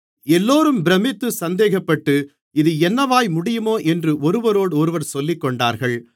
எல்லோரும் பிரமித்து சந்தேகப்பட்டு இது என்னமாய் முடியுமோ என்று ஒருவரோடொருவர் சொல்லிக்கொண்டார்கள்